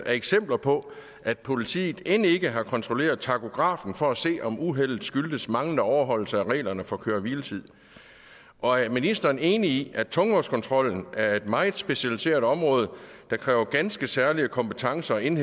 er eksempler på at politiet end ikke har kontrolleret takografen for at se om uheldet skyldtes manglende overholdelse af reglerne for køre hvile tid og er ministeren enig i at tungvognskontrollen er et meget specialiseret område der kræver ganske særlige kompetencer og en